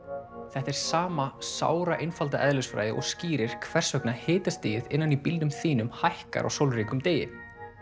þetta er sama eðlisfræði og skýrir hvers vegna hitastigið innan í bílnum þínum hækkar á sólríkum degi